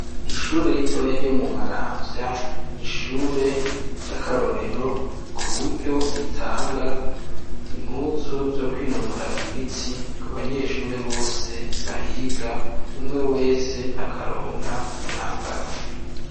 Ishure ritoya ryo mu maramvya, n'ishure rya karorero ritanga impuzu zo kwinonora imitsi , aho umunyeshure wese aronka umwambaro.